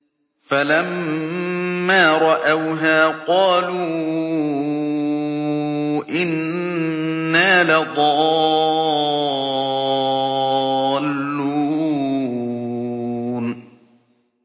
فَلَمَّا رَأَوْهَا قَالُوا إِنَّا لَضَالُّونَ